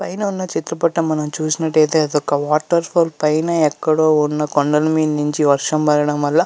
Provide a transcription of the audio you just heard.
పైన ఉన్న చిత్రపటం మనం చూసినట్లయితే అది ఒక వాటర్ ఫాల్ పైన ఎక్కడో ఉన్న కొండల మీద నుండి వర్షం పడడం వల్ల --